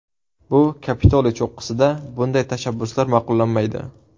Bu Kapitoliy cho‘qqisida bunday tashabbuslar ma’qullanmaydi.